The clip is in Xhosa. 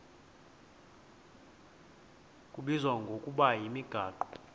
kubizwa ngokuba yimigaqo